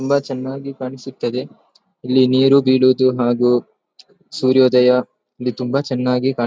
ತುಂಬಾ ಚೆನ್ನಾಗಿ ಕಾಣಿಸುತದ್ದೆ ಇಲ್ಲಿ ನೀರು ಬೀಳೋದು ಹಾಗು ಸೂರ್ಯೋದಯ ಇಲ್ಲಿ ತುಂಬಾ ಚೆನ್ನಾಗಿ ಕಾಣು--